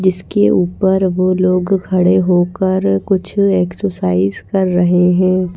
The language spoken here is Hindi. जिसके ऊपर वो लोग खड़े होकर कुछ एक्सरसाइज कर रहे हैं।